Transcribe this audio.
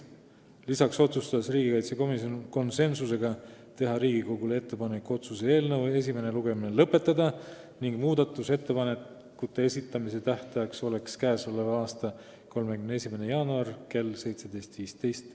Lisaks otsustas riigikaitsekomisjon teha Riigikogule ettepaneku otsuse eelnõu esimene lugemine lõpetada ning muudatusettepanekute esitamise tähtajaks määrati k.a 31. jaanuar kell 17.15.